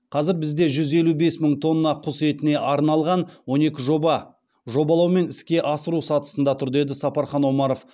қазір бізде жүз елу бес мың тонна құс етіне арналған он екі жоба жобалау мен іске асыру сатысында тұр деді сапархан омаров